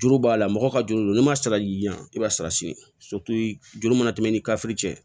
Juru b'a la mɔgɔw ka juru don n'i ma sara y'i jan i b'a sara siye juru mana tɛmɛ i ni kafiri cɛ